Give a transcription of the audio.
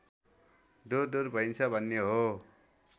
दुरदुर भइन्छ भन्ने हो